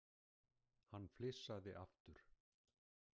Hann flissaði aftur.